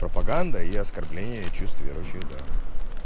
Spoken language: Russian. пропаганда и оскорбление чувств верующих да